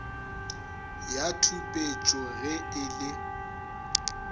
ya tšhupetšo ge e le